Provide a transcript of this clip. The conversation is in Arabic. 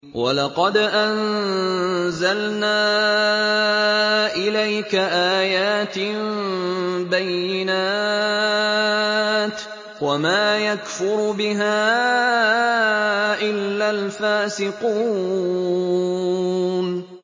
وَلَقَدْ أَنزَلْنَا إِلَيْكَ آيَاتٍ بَيِّنَاتٍ ۖ وَمَا يَكْفُرُ بِهَا إِلَّا الْفَاسِقُونَ